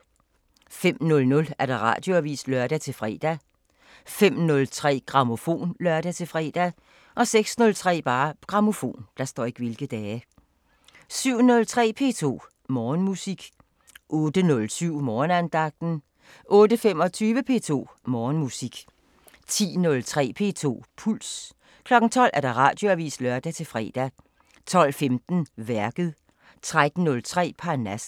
05:00: Radioavisen (lør-fre) 05:03: Grammofon (lør-fre) 06:03: Grammofon 07:03: P2 Morgenmusik 08:07: Morgenandagten 08:25: P2 Morgenmusik 10:03: P2 Puls 12:00: Radioavisen (lør-fre) 12:15: Værket 13:03: Parnasset